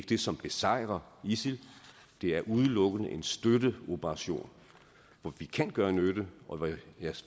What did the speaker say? det som besejrer isil det er udelukkende en støtteoperation hvor vi kan gøre nytte og hvor jeg